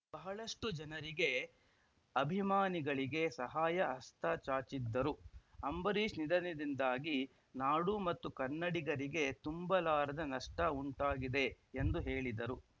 ಬಹಳಷ್ಟುಜನರಿಗೆ ಅಭಿಮಾನಿಗಳಿಗೆ ಸಹಾಯ ಹಸ್ತ ಚಾಚಿದ್ದರು ಅಂಬರೀಶ್‌ ನಿಧದದಿಂದಾಗಿ ನಾಡು ಮತ್ತು ಕನ್ನಡಿಗರಿಗೆ ತುಂಬಲಾರದ ನಷ್ಟಉಂಟಾಗಿದೆ ಎಂದು ಹೇಳಿದರು